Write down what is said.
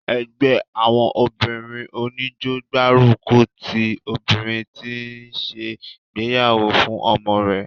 ẹgbẹ́ àwọn obìnrin oníjó gbárùkùtì obìnrin tí ó ń se ìgbéyàwó fún ọmọ rẹ̀